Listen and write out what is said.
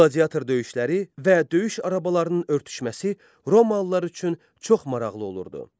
Qladiator döyüşləri və döyüş arabalarının örtüşməsi Romalılar üçün çox maraqlı olurdu.